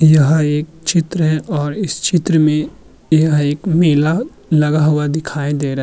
यह एक चित्र है और इस चित्र में एक मेला लगा हुआ दिखाए दे रहा --